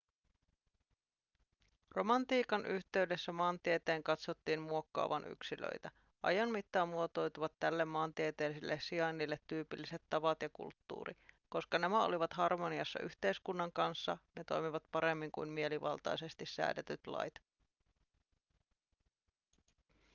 romantiikan yhteydessä maantieteen katsottiin muokkaavan yksilöitä ajan mittaan muotoutuivat tälle maantieteelliselle sijainnille tyypilliset tavat ja kulttuuri koska nämä olivat harmoniassa yhteiskunnan kanssa ne toimivat paremmin kuin mielivaltaisesti säädetyt lait